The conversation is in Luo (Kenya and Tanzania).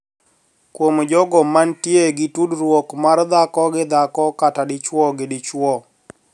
Kuom jogo mantie gi tudruok mar dhako gi dhako kata dichwo gi dichwo